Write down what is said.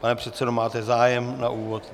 Pane předsedo, máte zájem na úvod?